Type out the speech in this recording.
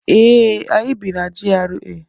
ee, anyi bi na GRA